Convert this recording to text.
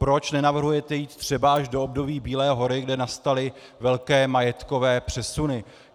Proč nenavrhujete jít třeba až do období Bílé hory, kdy nastaly velké majetkové přesuny?